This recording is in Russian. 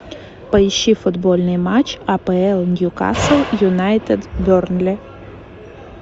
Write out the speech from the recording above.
поищи футбольный матч апл ньюкасл юнайтед бернли